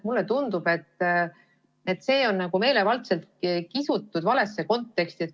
Mulle tundub, et see on meelevaldselt kistud valesse konteksti.